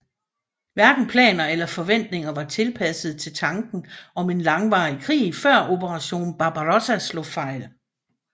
Hverken planer eller forventninger var tilpasset til tanken om en langvarig krig før Operation Barbarossa slog fejl